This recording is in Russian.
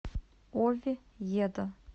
овьедо